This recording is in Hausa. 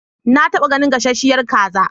Na taɓa ganin gasasshiyar kaza.